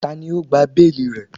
Tani o gba beeli rẹ?